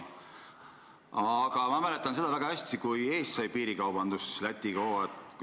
Aga ma mäletan väga hästi aega, kui Eestis sai piirikaubandus Lätiga hoo sisse.